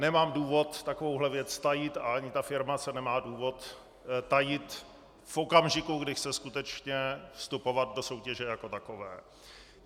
Nemám důvod takovou věc tajit a ani ta firma se nemá důvod tajit v okamžiku, kdy chce skutečně vstupovat do soutěže jako takové.